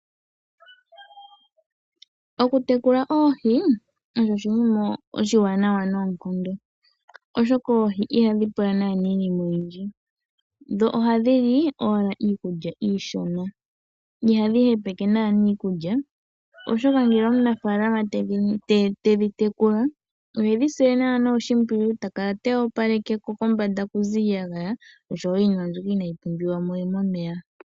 Okutekula oohi osho oshinima oshiwanawa noonkondo, oshoka oohi ihadhi pula iinima oyindji, dho ohadhi li owala iikulya iishona . Ihadhi hepeke iikulya oshoka ngele omunafaalama te dhi tekula ohe dhi sile oshimpwiyu ta kala ta opalekeko kombanda ku ze iiyagaya osho wo iinima mbyoka inaayi pumbiwa mo momeya.